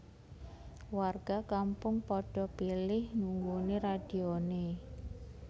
Warga kampung padha pilih nunggoni radione